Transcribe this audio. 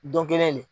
Don kelen de